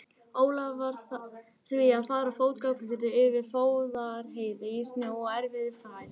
Ólafur varð því að fara fótgangandi yfir Fróðárheiði í snjó og erfiðri færð.